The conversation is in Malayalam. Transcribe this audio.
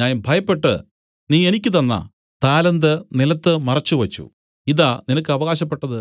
ഞാൻ ഭയപ്പെട്ട് നീ എനിക്ക് തന്ന താലന്ത് നിലത്തു മറച്ചുവച്ചു ഇതാ നിനക്ക് അവകാശപ്പെട്ടത്